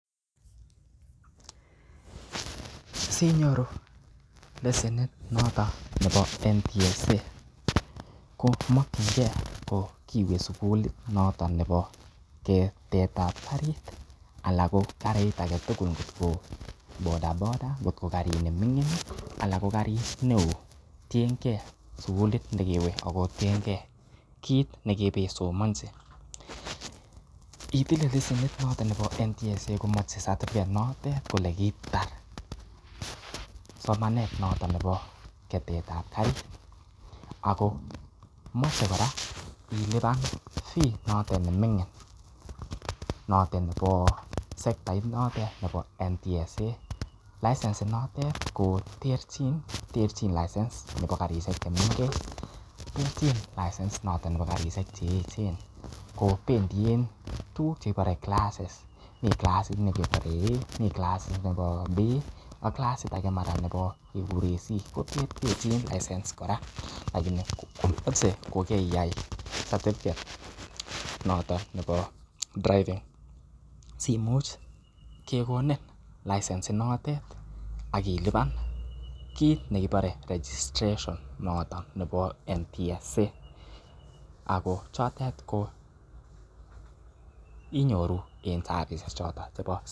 Sinyoru lesenit nooton nebo NTSA ko mokinge ko kiiwe suuglit noto nebo ketet ab karit anan ko karit age tugul ngotko bodaboda ngotko karit neming'in, ala ko karit neo, tienge sugulit ne kiiwe ago tinge kiit ne kiibeisomonchi itile lesenent noton nebo NTSA komoche certificate notet kole kiitar somanet noton nebo ketet ab karit ago moche kora ilipan fee noton ne ming'in noto nebo sekatit notet nebo NTSA, license inotet ko terchin, terchin license chebo karisiek che mengech, terchin license noton nebo karisiek che eechen ko bendien tuguk che kipore classes mi classit ne kebore A, mi classit nebo B ak classit age nebo mara keguren C ko terterchin license kora lakini komoche ko kariyai certificate noton nebo driving simuch kigonin license inotet ak ilipan kiit nekibore registration noton nebo NTSA. Ago chotet ko inyoru en services choto.